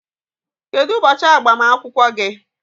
Kedu ụbọchị agbamakwụkwọ gị?